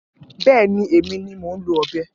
Bẹ̀ẹ́ni, emi ni moún ló ọbẹ